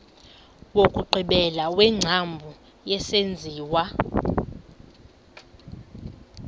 wokugqibela wengcambu yesenziwa